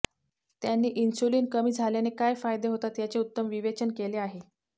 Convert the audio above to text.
त्यांनी इन्सुलिन कमी झाल्याने काय फायदे होतात याचे उत्तम विवेचन केले आहे